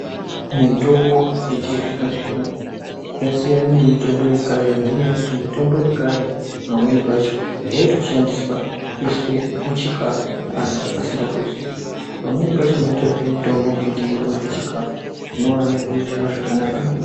Mutombo yechizvino zvino yasiyane nemitombo yekare nenyaya yekuti mutombo yekare pamweni pacho yaitoshandiswa kuiswe muchikafu anhu asingatoziii pamweni pacho mwaitorye mutombo mweiti muri kurye chikafu zvinove zviri zviro zvakanaka maningi.